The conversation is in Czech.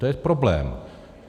To je problém.